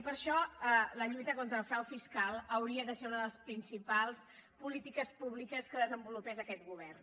i per això la lluita contra el frau fiscal hauria de ser una de les principals políti·ques públiques que desenvolupés aquest govern